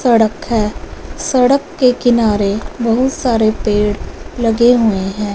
सड़क है सड़क के किनारे बहुत सारे पेड़ लगे हुए हैं।